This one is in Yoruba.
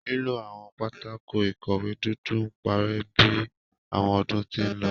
Lilo awọn pátákó-ikọwe dudu n parẹ bi awọn ọdun ti nlọ